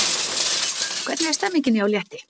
Hvernig er stemningin hjá Létti?